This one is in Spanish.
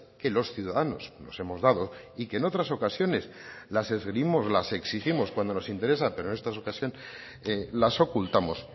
que los ciudadanos nos hemos dado y que en otras ocasiones las esgrimimos las exigimos cuando nos interesa pero en esta ocasión las ocultamos